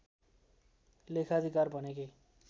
लेखाधिकार भनेकै